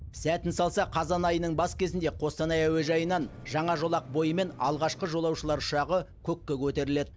сәтін салса қазан айының бас кезінде қостанай әуежайынан жаңа жолақ бойымен алғашқы жолаушылар ұшағы көкке көтеріледі